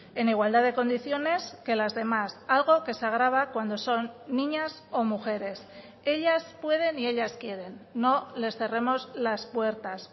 en igualdad de condiciones que las demás algo que se agrava cuando son niñas o mujeres ellas pueden y ellas quieren no les cerremos las puertas